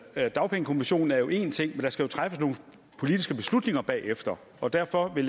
er at dagpengekommissionen jo er en ting men der skal træffes nogle politiske beslutninger bagefter og derfor vil